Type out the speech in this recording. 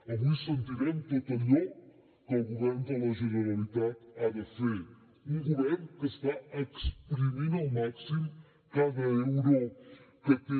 avui sentirem tot allò que el govern de la generalitat ha de fer un govern que està exprimint al màxim cada euro que té